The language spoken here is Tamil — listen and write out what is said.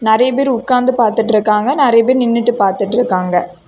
நெறைய பேர் உட்கார்ந்து பாத்துட்ருக்காங்க நெறைய பேர் நின்னுட்டு பாத்துட்ருக்காங்க.